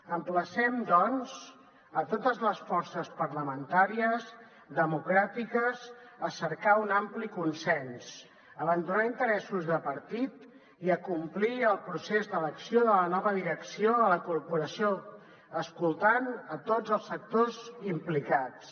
emplacem doncs a totes les forces parlamentàries democràtiques a cercar un ampli consens abandonar els interessos de partit i acomplir el procés d’elecció de la nova direcció de la corporació escoltant a tots els sectors implicats